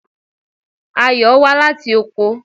Ayò wá láti oko.